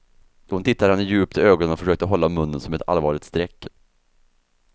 Hon tittade henne djupt i ögonen och försökte hålla munnen som ett allvarligt streck.